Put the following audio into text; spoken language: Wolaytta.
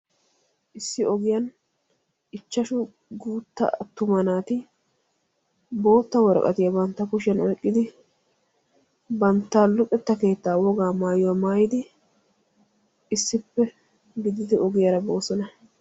Issi ogiyan ichchashshu guuttaa attuma naati boottaa worqqatiya bantta kushshiyan oyqqidi banttaa luxetta keettaa wogaa maayuwa maayidi issippe gididi ogiyaara boossona.